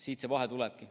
Siit see vahe tulebki.